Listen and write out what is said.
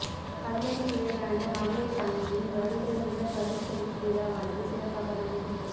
கல்லடி விவேகானந்தா மகளீர் கல்லூரியின் வருடாந்த பரிசளிப்பு விழாவானது சிறப்பாக நடைபெற்றது